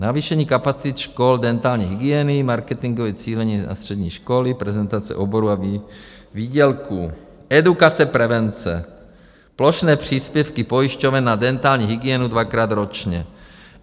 Navýšení kapacit škol dentální hygieny, marketingové cílení na střední školy, prezentace oborů a výdělků, edukace prevence, plošné příspěvky pojišťoven na dentální hygienu dvakrát ročně.